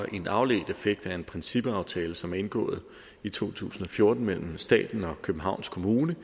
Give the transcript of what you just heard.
en afledt effekt af en principaftale som blev indgået i to tusind og fjorten mellem staten og københavns kommune